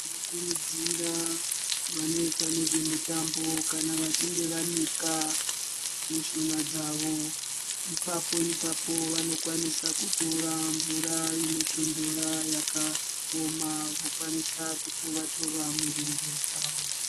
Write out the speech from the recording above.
Tinokurudzira vanoita nezvemitambo kana vachinge vanika mishuna dzavo Ipapo- ipapo vanokwanisa kutora mvura inotondora yakaoma vakwaniswa kutova -tova mirenje dzavo.